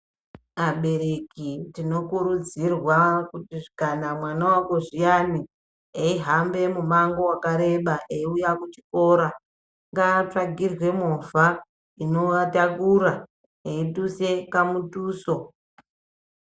Abereki tinokurudzirwa kuti kana mwana wakozviyani, eihambe emumango wakareba eiuya kuchikora ngaatsvakirwe movha inoatakura, veiduse kamutuso.